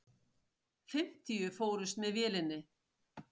Fimmtíu fórust með vélinni.